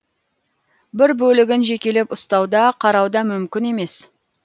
бір бөлігін жекелеп ұстау да қарау да мүмкін емес